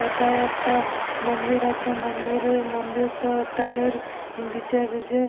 এথায় একটা মন্দির আছে মন্দিরে মন্দিরতো তাড়ের বিচে বিচে --